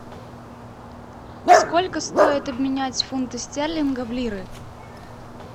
сколько стоит обменять фунты стерлинга в лиры